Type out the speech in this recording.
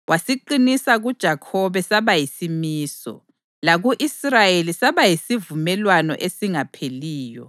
wasiqinisa kuJakhobe saba yisimiso, laku-Israyeli saba yisivumelwano esingapheliyo,